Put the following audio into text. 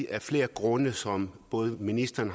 af flere grunde som både ministeren